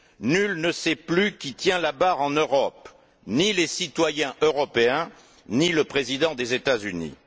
Nul ne sait plus qui tient la barre en Europe, ni les citoyens européens, ni le président des États Unis.